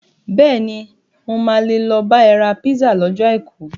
Bẹ́ẹ̀ni, mo máa lè lọ bá ẹ ra písà lọ́jọ́ Àìkú.